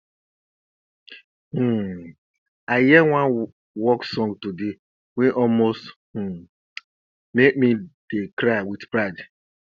um i hear one work song today wey almost um make me dey cry wit pride